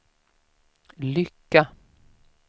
lycka